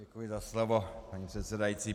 Děkuji za slovo, paní předsedající.